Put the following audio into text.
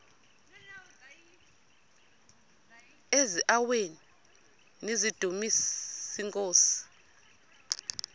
eziaweni nizidumis iinkosi